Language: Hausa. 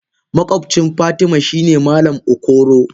Makobcin fatima shine malam okoro.